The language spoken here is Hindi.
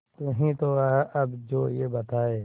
तू ही तो है अब जो ये बताए